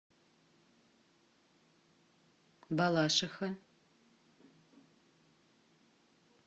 балашиха